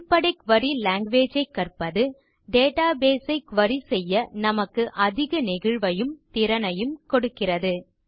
அடிப்படை query language ஐ கற்பது டேட்டாபேஸ் ஐ குரி செய்ய நமக்கு அதிக நெகிழ்வையும் திறனையும் கொடுக்கிறது